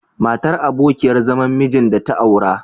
Matar abokiyar zaman mijin da ta aura..